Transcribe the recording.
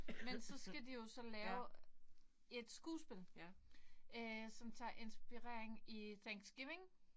Men så skal de jo så lave et skuespil øh som tager inspirering i thanksgiving